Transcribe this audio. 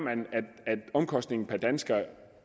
at omkostningen per dansker